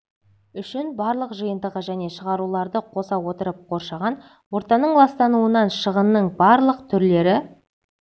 үшін барлық жиынтығы және шығаруларды қоса отырып қоршаған ортаның ластануынан шығынның барлық түрлері